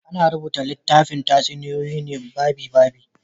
Ana rubuta littafin tatsuniyoyi ne babi-babi.